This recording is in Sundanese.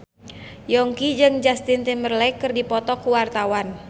Yongki jeung Justin Timberlake keur dipoto ku wartawan